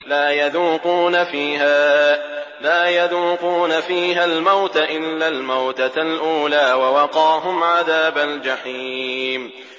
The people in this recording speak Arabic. لَا يَذُوقُونَ فِيهَا الْمَوْتَ إِلَّا الْمَوْتَةَ الْأُولَىٰ ۖ وَوَقَاهُمْ عَذَابَ الْجَحِيمِ